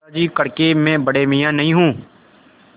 दादाजी कड़के मैं बड़े मियाँ नहीं हूँ